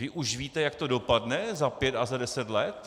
Vy už víte, jak to dopadne za pět a za deset let?